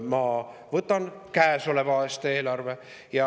Ma võtan kätte käesoleva aasta eelarve.